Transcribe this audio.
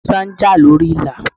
Músá ń jà lórí Ìlà.